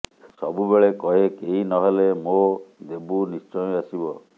ସବୁବେଳେ କହେ କେହି ନହେଲେ ମୋ ଦେବୁ ନିଶ୍ଚୟ ଆସିବ